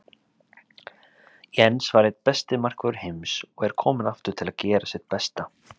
Jens var einn besti markvörður heims og er kominn aftur til að gera sitt besta.